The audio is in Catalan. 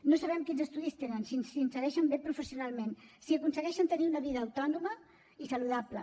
no sabem quins estudis tenen si s’insereixen bé professionalment si aconsegueixen tenir una vida autònoma i saludable